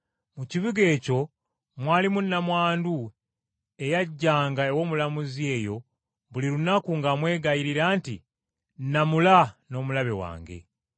Mu kibuga ekyo mwalimu nnamwandu eyajjanga ew’omulamuzi oyo buli lunaku ng’amwegayirira nti, ‘Nnamula n’omulabe wange.’